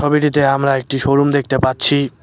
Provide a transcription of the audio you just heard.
ছবিটিতে আমরা একটি শোরুম দেখতে পাচ্ছি।